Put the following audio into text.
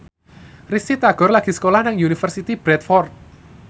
Risty Tagor lagi sekolah nang Universitas Bradford